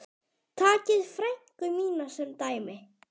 Takið frænku mína sem dæmi.